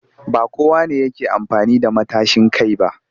Ba kowa ne yake amfani da matashin kai ba